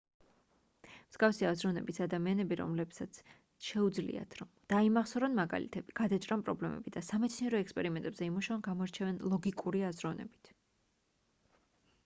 მსგავსი აზროვნების ადამიანები რომლებსაც შეუძლიათ რომ დაიმახსოვრონ მაგალითები გადაჭრან პრობლემები და სამეცნიერო ექსპერიმენტებზე იმუშაონ გამოირჩევიან ლოგიკური აზროვნებით